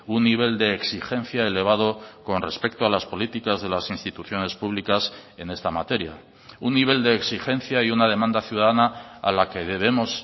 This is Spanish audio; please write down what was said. un nivel de exigencia elevado con respecto a las políticas de las instituciones públicas en esta materia un nivel de exigencia y una demanda ciudadana a la que debemos